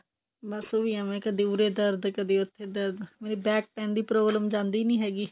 ਬੱਸ ਉਹ ਵੀ ਐਵੇਂ ਕਦੀ ਉਰੇ ਦਰਦ ਕਦੀ ਉੱਥੇ ਦਰਦ ਮੇਰੀ back pain ਦੀ problem ਜਾਂਦੀ ਨੀ ਹੈਗੀ